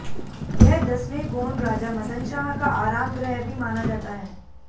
यह दसवें गोंड राजा मदन शाह का आराम गृह भी माना जाता है